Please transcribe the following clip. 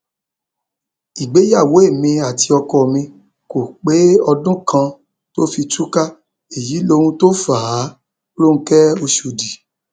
ìgbéyàwó èmi àti ọkọ mi kò pé ọdún kan tó fi tú ká èyí lóhun tó fà á ronke ọshọdì